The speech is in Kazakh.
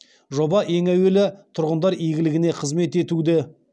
жоба ең әуелі тұрғындар игілігіне қызмет етуді